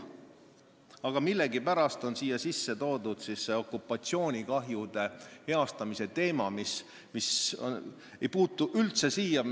Aga millegipärast on siia sisse toodud see okupatsioonikahjude heastamise teema, mis ei puutu üldse siia.